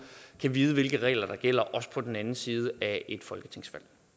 kan vide hvilke regler der gælder også på den anden side af et folketingsvalg